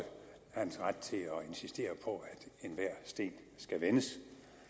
hans ret til at insistere på at enhver sten skal vendes